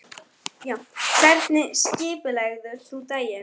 Edil, hringdu í Arnstein eftir þrjátíu og sex mínútur.